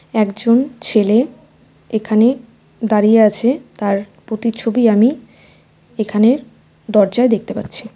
একজন ছেলে এখানে দাঁড়িয়ে আছে তার প্রতিচ্ছবি আমি এখানের দরজায় দেখতে পাচ্ছি .